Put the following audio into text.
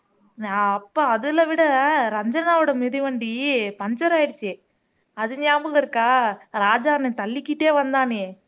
நான் அப்ப அதுல விட ரஞ்சனாவோட மிதிவண்டி puncture ஆயிடுச்சு அது ஞாபகம் இருக்கா ராஜா அண்ணன் தள்ளிக்கிட்டே வந்தானே